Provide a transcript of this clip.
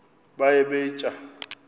baye bee tyaa